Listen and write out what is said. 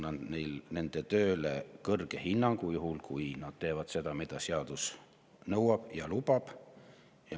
" Ma annan nende tööle hea hinnangu, juhul kui nad teevad seda, mida seadus nõuab ja lubab.